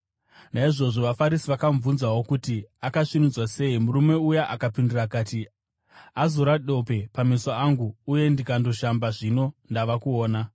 Naizvozvo vaFarisi vakamubvunzawo kuti akasvinudzwa sei. Murume uya akapindura akati, “Azora dope pameso angu uye ndikandoshamba, zvino ndava kuona.”